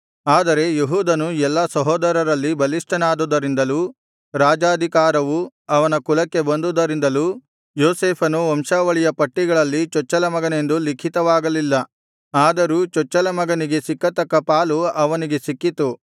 ಆದರೆ ಯೆಹೂದನು ಎಲ್ಲಾ ಸಹೋದರರಲ್ಲಿ ಬಲಿಷ್ಠನಾದುದರಿಂದಲೂ ರಾಜಾಧಿಕಾರವು ಇವನ ಕುಲಕ್ಕೆ ಬಂದುದರಿಂದಲೂ ಯೋಸೇಫನು ವಂಶಾವಳಿಯ ಪಟ್ಟಿಗಳಲ್ಲಿ ಚೊಚ್ಚಲ ಮಗನೆಂದು ಲಿಖಿತವಾಗಲಿಲ್ಲ ಆದರೂ ಚೊಚ್ಚಲ ಮಗನಿಗೆ ಸಿಕ್ಕತಕ್ಕ ಪಾಲು ಅವನಿಗೆ ಸಿಕ್ಕಿತು